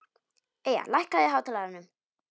Eyja, lækkaðu í hátalaranum.